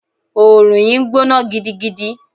Òòrùn yìí ń gbóná gidigidi.